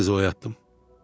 Sizi oyatdım.